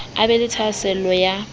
a be le thahasello ya